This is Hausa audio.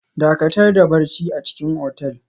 Dakatar da barci a cikin otel